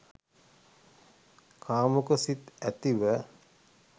කාමුක සිත් ඇතිව